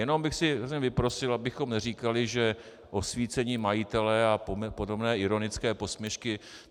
Jenom bych si vyprosil, abychom neříkali, že osvícení majitelé a podobné ironické posměšky...